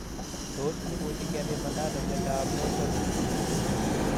Tos imuchi kepimanda ano miondop Rotor syndrome?